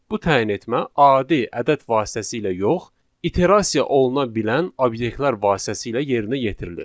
Bu təyin etmə adi ədəd vasitəsilə yox, iterasiya oluna bilən obyektlər vasitəsilə yerinə yetirilir.